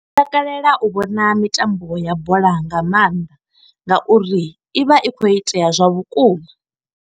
Ndi takalela u vhona mitambo ya bola nga maanḓa, nga uri i vha i khou itea zwa vhukuma.